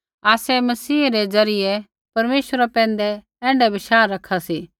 आसै मसीहै रै द्वारा परमेश्वरै पैंधै ऐण्ढाऐ बशाह रखा सी